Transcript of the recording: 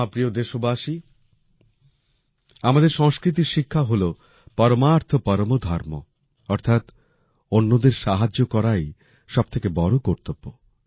আমার প্রিয় দেশবাসী আমাদের সংস্কৃতির শিক্ষা হলো পরমার্থ পরমো ধর্মঃ অর্থাৎ অন্যদের সাহায্য করাই সবথেকে বড় কর্তব্য